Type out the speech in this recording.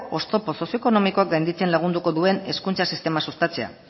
oztopo sozioekonomikoak gainditzen lagunduko duen hezkuntza sistema sustatzea